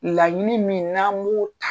Laɲini min n'an b'o